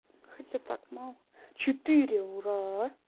хотя так мало четыре ура